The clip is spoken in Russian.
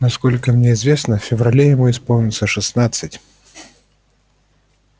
насколько мне известно в феврале ему исполнится шестнадцать